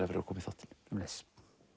fyrir að koma sömuleiðis